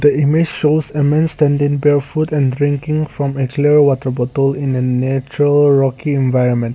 image shows a man standing barefoot and drinking from a clear water bottle in a natural rocky environment.